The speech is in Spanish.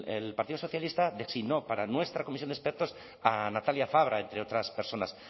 el partido socialista designó para nuestra comisión de expertos a natalia fabra entre otras personas